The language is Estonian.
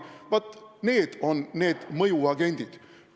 Vaat need on mõjuagendid.